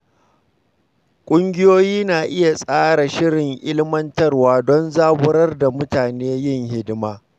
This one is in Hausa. Ƙungiyoyi na iya tsara shirin ilmantarwa don zaburar da mutane yin hidima.